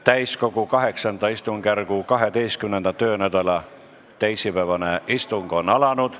Täiskogu VIII istungjärgu 12. töönädala teisipäevane istung on alanud.